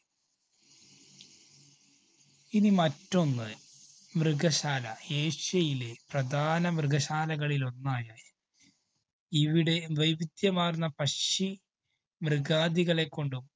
ഇനി മറ്റൊന്ന് മൃഗശാല. ഏഷ്യയിലെ പ്രധാന മൃഗശാലകളിലൊന്നായ, ഇവിടെ വൈവിധ്യമാര്‍ന്ന പക്ഷി മൃഗാദികളെ കൊണ്ടും,